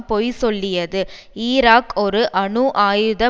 பொய் சொல்லியது ஈராக் ஒரு அணு ஆயுத